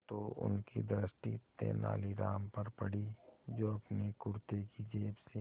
तो उनकी दृष्टि तेनालीराम पर पड़ी जो अपने कुर्ते की जेब से